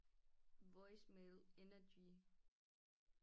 Voicemail energy